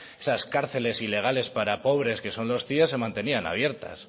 esas cárceles ilegales para pobres que son los cie se mantenían abiertas